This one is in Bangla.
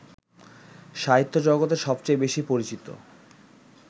সাহিত্যজগতে সবচেয়ে বেশী পরিচিত